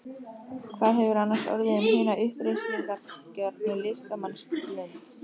Hvað hefur annars orðið um hina uppreisnargjörnu listamannslund?